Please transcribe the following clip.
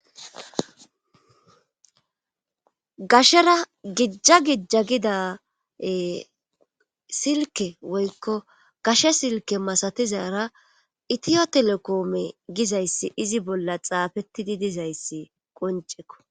Gashera gijja gija gida silke woykko gashe silke masatizara itiyo telekoome gizayssi izi bolla xaafettidi dizayssi qoncekko.